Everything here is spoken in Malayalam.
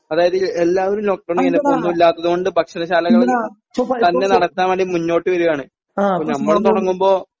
അതായത് എല്ലാവരും ലോക്ക് ഡൗൺ കഴിഞ്ഞപ്പോ ഒന്നുമില്ലാത്തതുകൊണ്ട് ഭക്ഷണശാലകള് തന്നെ നടത്താൻ വേണ്ടി മുന്നോട്ട് വരുവാണ് നമ്മള് തുടങ്ങുമ്പോ